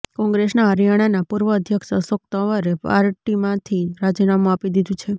કોંગ્રેસના હરિયાણાના પૂર્વ અધ્યક્ષ અશોક તંવરે પાર્ટીમાંથી રાજીનામુ આપી દીધુ છે